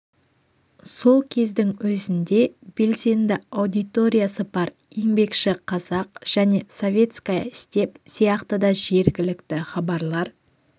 сол кездің өзінде белсенді аудиториясы бар еңбекші қазақ және советская степь сияқты да жергілікті хабарлар